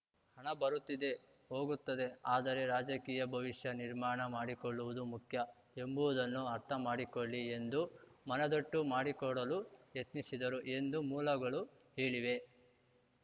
ಹಣ ಬರುತ್ತಿದೆ ಹೋಗುತ್ತಿದೆ ಆದರೆ ರಾಜಕೀಯ ಭವಿಷ್ಯ ನಿರ್ಮಾಣ ಮಾಡಿಕೊಳ್ಳುವುದು ಮುಖ್ಯ ಎಂಬುದನ್ನು ಅರ್ಥ ಮಾಡಿಕೊಳ್ಳಿ ಎಂದು ಮನದಟ್ಟು ಮಾಡಿಕೊಡಲು ಯತ್ನಿಸಿದರು ಎಂದು ಮೂಲಗಳು ಹೇಳಿವೆ